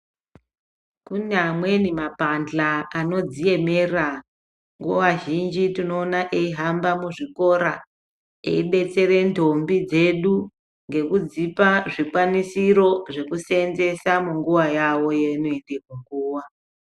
Kune amweni ma pahla anodzi emera nguva zhinji tinoona eyi hamba mu zvikora eyi detsere ndombi dzedu ngeku dzipa zvikwanisiro zveku senzesa munguva yavo yaanoende muguva.